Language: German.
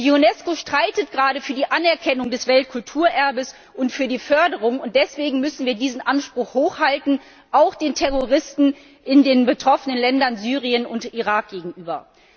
Die Unesco streitet gerade für die Anerkennung des Weltkulturerbes und für die Förderung, und deswegen müssen wir diesen Anspruch hochhalten auch den Terroristen in den betroffenen Ländern, Syrien und dem Irak, gegenüber.